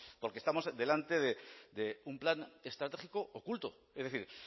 porque estamos delante de un plan estratégico oculto es decir